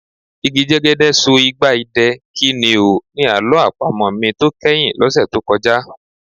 Igi jẹ́gẹ́dẹ́ so igba idẹ, kí ni o? Ni àlọ́ àpamọ̀ mi tó kẹ́yìn lọ́sẹ̀ tó kọjá.